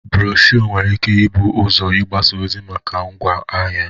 Brosho nwere ike ibụ ụzọ ịgbssa ozi maka ngwa ahịa.